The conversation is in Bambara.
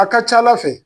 A ka ca ala fɛ